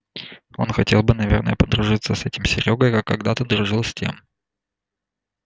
он хотел бы наверное подружиться с этим серёгой как когда-то дружил с тем